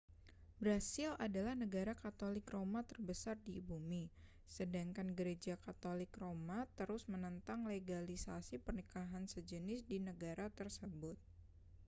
brasil adalah negara katolik roma terbesar di bumi sedangkan gereja katolik roma terus menentang legalisasi pernikahan sejenis di negara tersebut